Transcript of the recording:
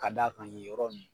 Ka d'a kan nin yɔrɔ ninnu